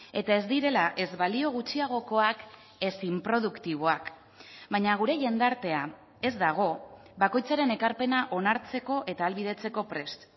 eta ez direla ez balio gutxiagokoak ez inproduktiboak baina gure jendartea ez dago bakoitzaren ekarpena onartzeko eta ahalbidetzeko prest